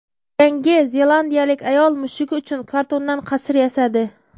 Yangi zelandiyalik ayol mushugi uchun kartondan qasr yasadi.